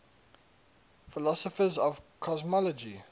philosophers of cosmology